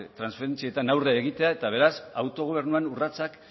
transferentzietan aurre egitea eta beraz autogobernuan urratsak